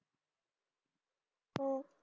हम्म